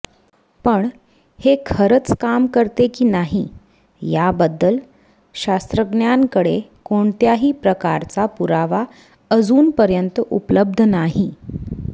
पण हे खरचं काम करते की नाही याबद्दल शास्त्रज्ञांकडे कोणत्याही प्रकारचा पुरावा अजूनपर्यंत उपलब्ध नाही